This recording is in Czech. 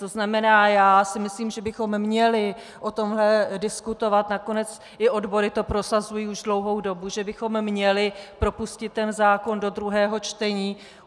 To znamená, já si myslím, že bychom měli o tomhle diskutovat, nakonec i odbory to prosazují už dlouhou dobu, že bychom měli propustit tento zákon do druhého čtení.